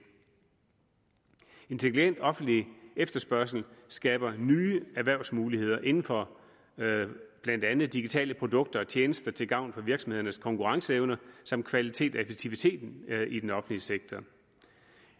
intelligent offentlig efterspørgsel skaber nye erhvervsmuligheder inden for blandt andet digitale produkter og tjenester til gavn for virksomhedernes konkurrenceevne samt kvalitet og effektivitet i den offentlige sektor